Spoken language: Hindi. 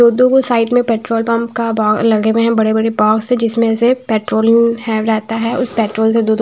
दो साइड में पेट्रोल पंप का लगे हुए हैं बड़े-बड़े बॉक्स जिसमें से पेट्रोल है रहता है उस पेट्रोल से दो दो--